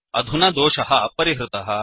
अधुना दोषः परिहृतः